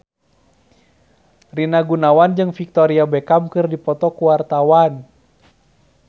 Rina Gunawan jeung Victoria Beckham keur dipoto ku wartawan